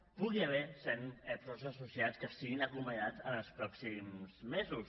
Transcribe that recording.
hi pugui haver cent professors associats que siguin acomiadats en els pròxims mesos